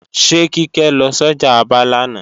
Ṣé Kíkẹ́ lọ sọ́jà Aba lánàá